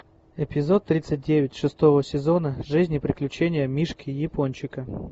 эпизод тридцать девять шестого сезона жизнь и приключения мишки япончика